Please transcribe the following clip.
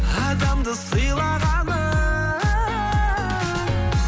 адамды сыйлағаның